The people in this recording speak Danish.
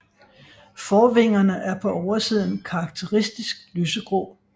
Forvingerne er på oversiden karakteristisk lysegrå